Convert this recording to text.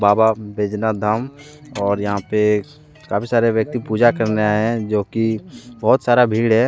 बाबा बैजनाथ धाम और यहां पे काफी सारे व्यक्ति पूजा करने आए हैं जो की बहुत सारा भीड़ है।